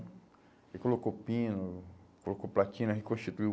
Ele colocou pino, colocou platina, reconstituiu.